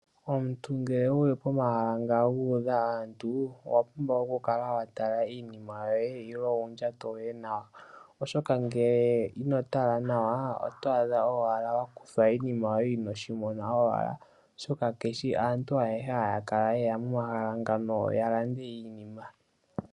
Omuntu ngele wuli pomahala ngoka nga udha aantu, owa pumbwa oku kala watala iinima yoye ilo ondjato yoye nawa, oshoka ngele ino tala nawa otwaadha owala wakuthwa iinima yoye inoshi mona nawa oshoka kaantu ayeshe hayeya momashala ngeno yeye yalande iinima.